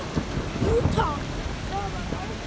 Jú takk, það var ágætt